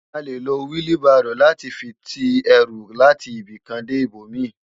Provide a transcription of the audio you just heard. À lé ló wili báró làti fi ti èrú làti ibikán dé ibómi